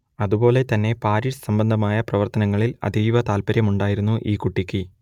അതുപോലെ തന്നെ പാരിഷ് സംബന്ധമായ പ്രവർത്തനങ്ങളിൽ അതീവ താൽപര്യവുമുണ്ടായിരുന്നു ഈ കുട്ടിക്ക്